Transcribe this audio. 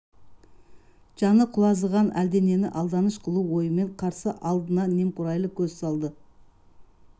жаны құлазығын әлденен алданыш қылу ойымен қарсы алдына немқұрайлы көз салды